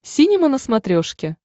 синема на смотрешке